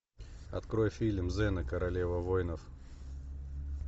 открой фильм зена королева воинов